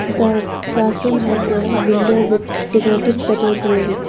the classroom has a window with decorative petal grill.